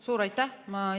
Suur aitäh!